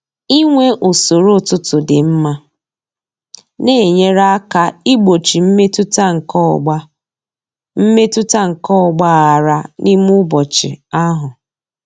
Inwe usoro ụtụtụ dị mma na-enyere aka igbochi mmetụta nke ọgba mmetụta nke ọgba aghara n'ime ụbọchị ahụ.